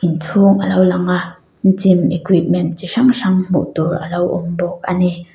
inchhung alo lang a gym equipment chi hrang hrang hmuh tur alo awm bawk ani.